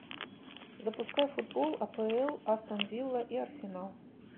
запускай футбол апл астон вилла и арсенал